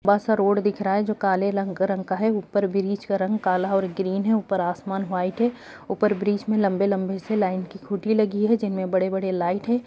बस रोड दिख रहा है जो काले लंग रंग का है ऊपर ब्रिज का रंग काला और ग्रीन है ऊपर आसमान व्हाइट है ऊपर ब्रिज में लंबे-लंबी से लाइन की खूटी लगी है जिनमें बड़े-बड़े लाइट है।